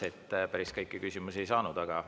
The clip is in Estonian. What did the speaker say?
Päris kõiki küsimusi ei saanud.